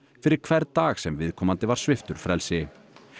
fyrir hvern dag sem viðkomandi var sviptur frelsi